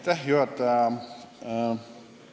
Hea juhataja!